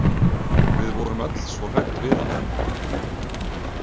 Við vorum öll svo hrædd við hana.